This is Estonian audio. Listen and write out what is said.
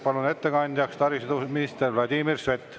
Palun ettekandjaks taristuminister Vladimir Sveti.